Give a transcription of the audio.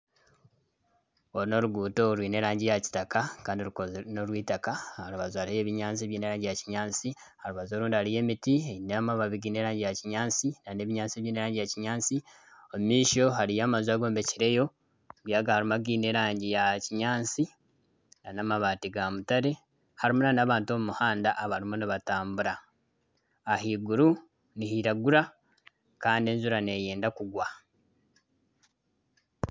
Oru n'oruguuto rwine erangi ya kitaka Kandi norw'eitaka aha rubaju hariho ebinyaatsi ebyine erangi ya kinyaatsi , orubaju orundi hariyo emiti eine amababi giine erangi ya kinyaatsi Kandi ebinyaatsi byine erangi ya kinyaatsi omu maisho hariyo amaju agombekireyo harimu againe erangi ya kinyaatsi n'amabaati ga mutare harimu n'abantu omu muhanda abarimu nibatambura. Ahaiguru nihiragura kandi enjura neyenda kugwa.